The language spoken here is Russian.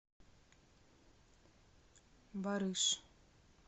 барыш